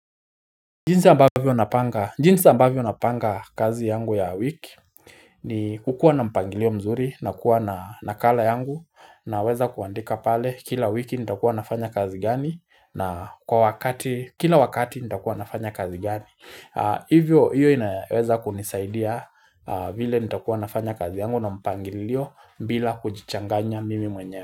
Jinsi ambavyo napanga kazi yangu ya wiki ni kukuwa na mpangilio mzuri nakuwa na nakala yangu naweza kuandika pale kila wiki nitakuwa nafanya kazi gani na kwa wakati kila wakati nitakuwa nafanya kazi gani Hivyo hiyo inaweza kunisaidia vile nitakuwa nafanya kazi yangu na mpangilio bila kujichanganya mimi mwenyewe.